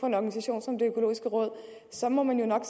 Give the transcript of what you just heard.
en organisation som det økologiske råd så må man jo nok